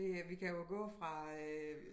Det øh vi kan jo gå fra øh